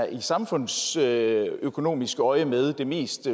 i samfundsøkonomisk øjemed er det mest